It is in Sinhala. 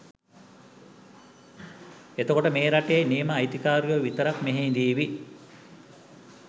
එතකොට මේ රටේ නියම අයිතිකාරයෝ විතරක් මෙහෙ ඉඳීවි